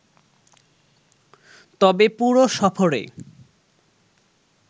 তবে পুরো সফরে